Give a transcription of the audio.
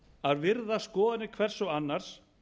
að virða skoðanir hvers annars